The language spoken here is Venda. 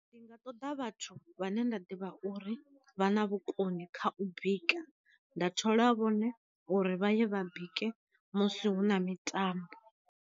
Ndi nga ṱoḓa vhathu vhane nda ḓivha uri vha na vhu koni kha u bika, nda thola vhone uri vha ye vha bike musi hu na mitambo.